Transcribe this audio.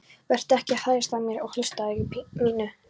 Vertu ekki að hæðast að mér og hlutskipti mínu.